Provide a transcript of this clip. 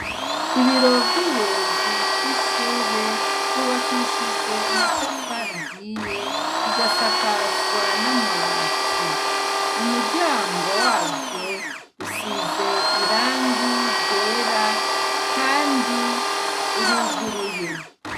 Ibiro vy'ubuyobozi bw'ishure, vyubakishijwe amatafari ahiye, bigasakazwa n'amabati. Umuryango wavyo usize irangi ryera kandi uruguruye.